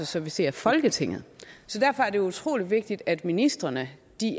servicere folketinget så derfor er det utrolig vigtigt at ministrene